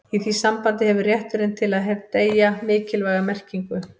í því sambandi hefur rétturinn til að deyja mikilvæga merkingu